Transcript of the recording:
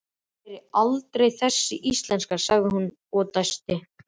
Ég læri aldrei þessi íslenska, sagði hún og dæsti.